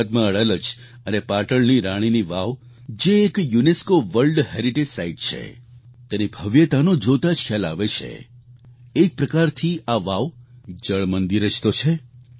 ગુજરાતમાં અડાલજ અને પાટણની રાણીની વાવ જે એક યુનેસ્કો વર્લ્ડ હેરિટેજ સાઈટ છે તેની ભવ્યતાનો જોતાં જ ખ્યાલ આવે છેઃ એક પ્રકારથી આ વાવ જળમંદિર જ તો છે